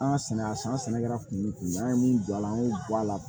An ka sɛnɛ a san sɛnɛkɛla kun an ye mun don a la an y'o bɔ a la